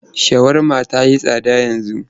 Shawarma ta yi tsada yanzu.